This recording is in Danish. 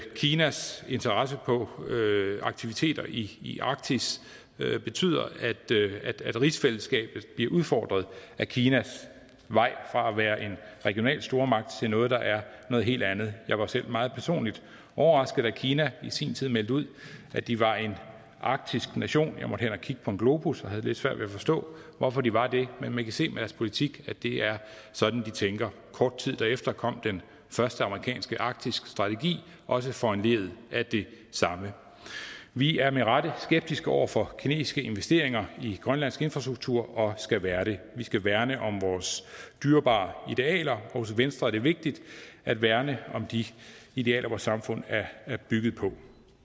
kinas interesse for aktiviteter i i arktis betyder at rigsfællesskabet bliver udfordret af kinas vej fra at være en regional stormagt til noget der er noget helt andet jeg var selv meget personligt overrasket da kina i sin tid meldte ud at de var en arktisk nation jeg måtte hen og kigge på en globus og havde lidt svært ved at forstå hvorfor de var det men man kan se på deres politik at det er sådan de tænker kort tid derefter kom den første amerikanske arktiske strategi også foranlediget af det samme vi er med rette skeptiske over for kinesiske investeringer i grønlands infrastruktur og skal være det vi skal værne om vores dyrebare idealer og hos venstre er det vigtigt at værne om de idealer vort samfund er er bygget på